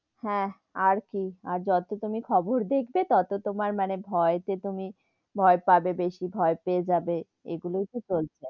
হ্যা, আর কি আর যতো তুমি খবর দেখবে, ততো মানে তোমার ভয় তে তুমি ভয় পাবে বেশি, ভয় পেয়ে যাবে এগুলোই তো চলছে,